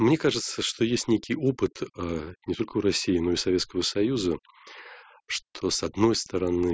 мне кажется что есть некий опыт не только у россии но и у советского союза что с одной стороны